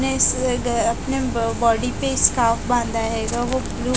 अपने इस अ ग अपने ब बॉडी पे इस्काफ बांधा हेगा वो ब्लू --